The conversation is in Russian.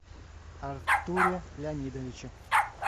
артуре леонидовиче